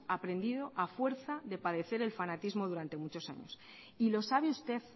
aprendido a fuerza de padecer el fanatismo durante muchos años y lo sabe usted